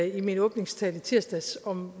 i min åbningstale i tirsdags om